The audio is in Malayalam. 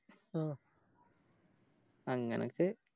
ഓ അങ്ങനൊക്കെ